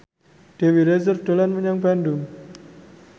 Dewi Rezer dolan menyang Bandung